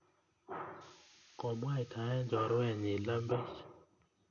Komwaitae chorwenyi lembech